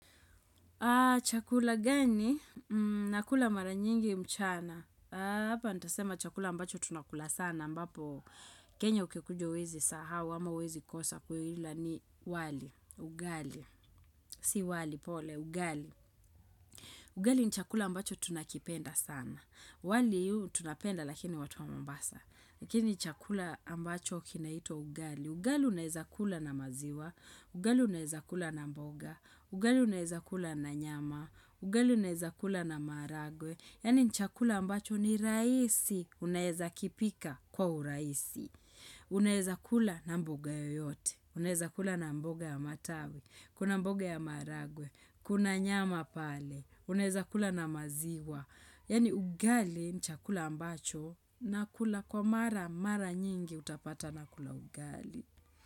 Chakula gani? Nakula mara nyingi mchana. Hapa ntasema chakula ambacho tunakula sana ambapo kenya ukikuja uwezi sahau ama uwezi kosa kuila ni wali, ugali. Si wali pole, ugali. Ugali ni chakula ambacho tunakipenda sana. Wali tunapenda lakini watu wa mombasa. Lakini chakula ambacho kinaitwa ugali. Ugali unaeza kula na maziwa. Ugali uneza kula na mboga. Ugali uneza kula na nyama. Ugali uneza kula na maharagwe, yani ni chakula ambacho ni rahisi unaeza kipika kwa urahisi. Unaeza kula na mboga yoyote, unaeza kula na mboga ya matawi, kuna mboga ya maharagwe, kuna nyama pale, uneza kula na maziwa. Yani ugali nchakula ambacho na kula kwa mara, mara nyingi utapata na kula ugali.